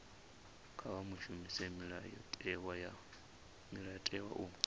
kha vha shumise mulayotewa u